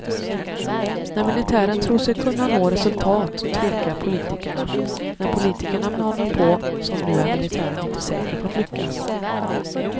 När militären tror sig kunna nå resultat tvekar politikerna, när politikerna manar på som nu är militären inte säker på att lyckas.